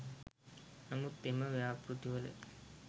නමුත් එම ව්‍යාපෘතිවල